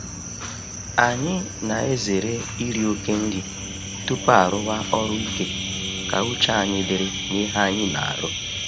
Anyị na-ezere iri oke nri tupu arụwa ọrụ ike ka uche anyị dịrị na ihe anyị n'arụ.